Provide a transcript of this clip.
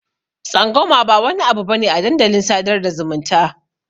Tsangwama ba wani abu bane a dandalin sadar da zumunta.